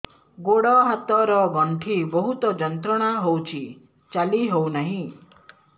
ଗୋଡ଼ ହାତ ର ଗଣ୍ଠି ବହୁତ ଯନ୍ତ୍ରଣା ହଉଛି ଚାଲି ହଉନାହିଁ